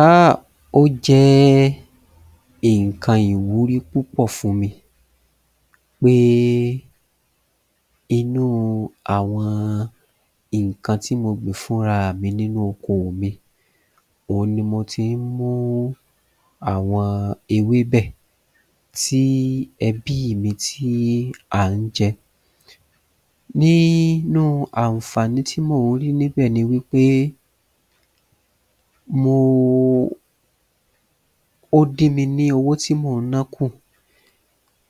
Ahhh ó jẹ́ nǹkan ìwúrí púpọ̀ fún mi pé inúu àwọn nǹkan tí mo gbìn fún raàmi nínú okoò mi òhun ni mo tín mú àwọn ewébẹ̀ tí ẹbíì mi tí à ń jẹ Nínú ànfàní tí mò ń rí níbẹ̀ ni wí pé mo ooo ó dín mi ní owó tí mò ń ná kù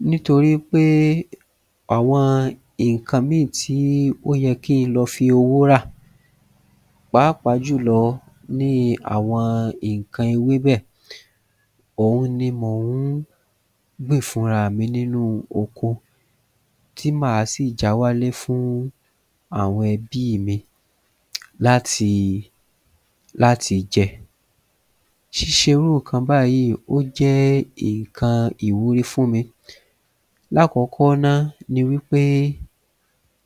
nítorí pé àwọn nǹkan míì tí ó yẹ kí n lọ fi owó rà pàápàá jùlọ níi àwọn nǹkan ewébẹ̀ ohun ni mò ń gbìn fúnraà mi nínú oko tí màá sì já wálé fún àwọn ẹbíì mi láti láti jẹ Ṣíṣe irú nǹkan báyìí ó jẹ́ nǹkan ìwúrí fún mi Lákọ̀ọ́kọ́ náa ni wí pé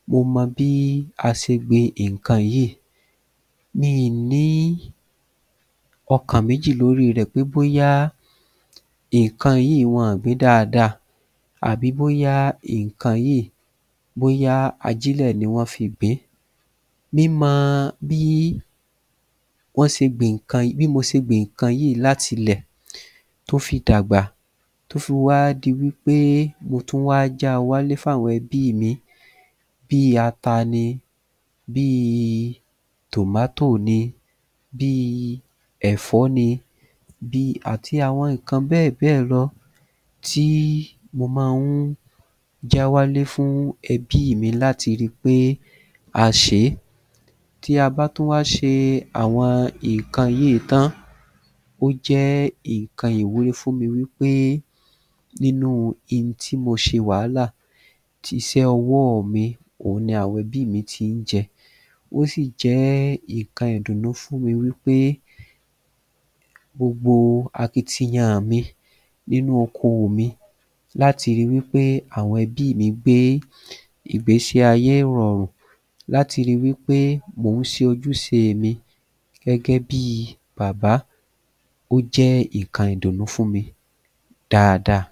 mo mọ bí a ṣe gbin nǹkan yìí mi ì ní ọkàn méjì lóri rẹ̀ pé bóyá nǹkan yìí wọn ò gbin dáadáa àbí bóyá nǹkan yìí bóyá ajílẹ̀ ni wọ́n fi gbìn-ín Mi mo bí wọ́n ṣe gbin nǹkan yìí bí mo ṣe gbin nǹkan yìí láti lẹ̀ tó fi dàgbà tó fi wá di wí pé mo tún wá já wálé fún àwọn ẹbíì mi bíi ata ni bíi [tomato] ni bíi ẹ̀fó ni bíi àti àwọn nǹkan bẹ́ẹ̀ bẹ́ẹ̀ lọ tí mo má ń já wálé fún ẹbíì mi láti ri pé a ṣè é Tí a bá tún wá ṣe àwọn nǹkan yìí tán ó jẹ́ nǹkan ìwúrí fún mi wí pé nínúu hin tí mo ṣe wàhálà iṣẹ́ ọwọ́ọ̀ mi òhun ni àwọn ẹbíì mi ti ń jẹ ó sì jẹ́ nǹkan ìdúnnú fún mi wí pé gbogbo akitiyan-àn mi nínú okoò mi láti ri wí pé àwọn ẹbíì mi gbé ìgbésí ayé ìrọ̀rùn láti ri wí pé mò ń ṣe ojúṣeè mi gẹ́gẹ́ bíi bàbá ó jẹ́ nǹkan ìdúnnú fún mi dáadáa